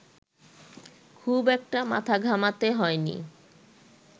খুব একটা মাথা ঘামাতে হয়নি